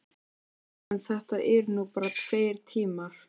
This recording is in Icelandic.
Já, en þetta eru nú bara tveir tímar.